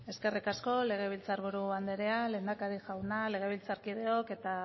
eskerrik asko legebiltzar buru anderea lehendakari jauna legebiltzarkideok eta